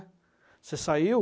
Você saiu...